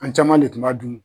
An caman de tun dun!